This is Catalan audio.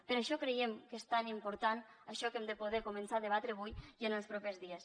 per això creiem que és tan important això que hem de poder començar a debatre avui i en els propers dies